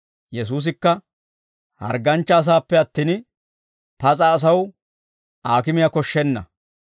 Yesuusikka, «Hargganchcha asaappe attin pas'a asaw aakimiyaa koshshenna.